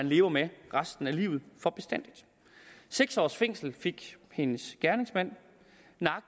leve med resten af livet for bestandig seks års fængsel fik hendes gerningsmand